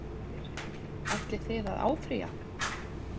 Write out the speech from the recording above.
Karen Kjartansdóttir: Ætlið þið að áfrýja?